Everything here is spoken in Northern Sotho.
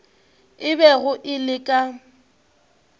e bego e le ka